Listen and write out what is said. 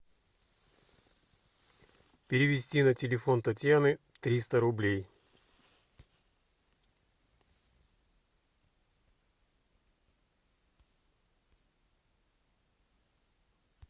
перевести на телефон татьяны триста рублей